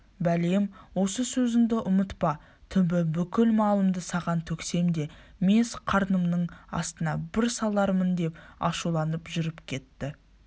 бәлем осы сөзіңді ұмытпа түбі бүкіл малымды саған төксем де мес қарнымның астына бір салармындеп ашуланып жүріп кетті